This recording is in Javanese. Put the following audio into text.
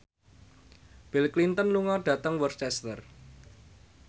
Bill Clinton lunga dhateng Worcester